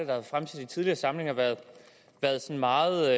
været fremsat i tidligere samlinger været meget